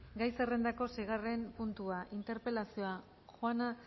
gai zerrendako seigarren puntua interpelazioa juana